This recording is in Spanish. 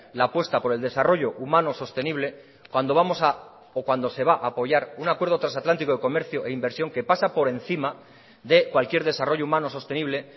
la apuesta por el desarrollo humano sostenible cuando vamos o cuando se va a apoyar un acuerdo trasatlántico de comercio e inversión que pasa por encima de cualquier desarrollo humano sostenible